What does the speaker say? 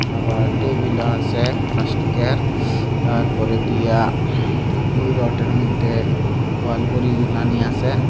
খাবার টেবিল ও আসে প্লাস্টিক এর তারপরে দিয়া ওই রডের মইধ্যে ওয়াল ঘড়ি ঝোলানি আসে।